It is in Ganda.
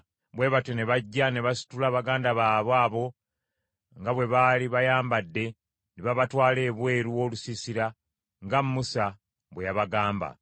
Bwe batyo ne bajja ne basitula baganda baabwe abo nga bwe baali bayambadde ne babatwala ebweru w’olusiisira nga Musa bwe yabagamba.